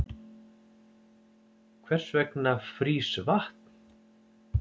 hvers vegna frýs vatn